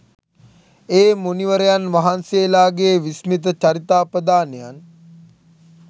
ඒ මුනිවරයන් වහන්සේලාගේ විස්මිත චරිතාපදානයන්